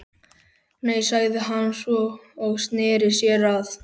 Nei, sagði hann svo, og sneri sér að